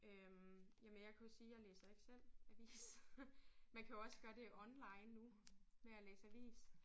Øh jamen jeg kan jo sige jeg læser ikke selv avis. Man kan jo også gøre det online nu med at læse avis